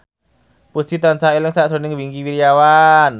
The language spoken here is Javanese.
Puji tansah eling sakjroning Wingky Wiryawan